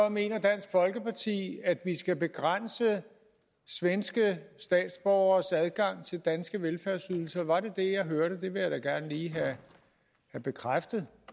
mener dansk folkeparti at vi skal begrænse svenske statsborgeres adgang til danske velfærdsydelser var det det jeg hørte det vil jeg da gerne lige have bekræftet